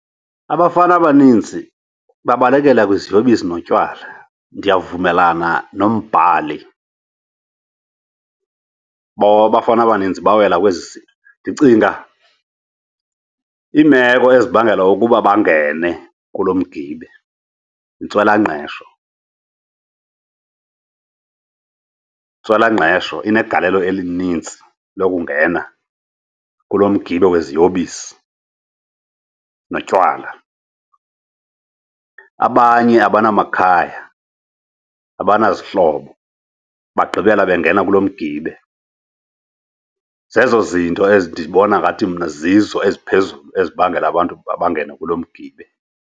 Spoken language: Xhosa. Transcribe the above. Abafana abaninzi babalekela kwiziyobisi notywala. Ndiyavumelana nombhali ababafana abaninzi bawela kwezi zinto. Ndicinga iimeko ezibangela ukuba bangene kulo mgibe, yintswelangqesho, intswelangqesho inegalelo elinintsi lokungena kulo mgibe weziyobisi notywala. Abanye abanamakhaya, abanazihlobo bagqibela bengena kulo mgibe. Zezo zinto ezi ndibona ngathi mna zizo eziphezulu ezibangela abantu uba abangena kulo mgibe.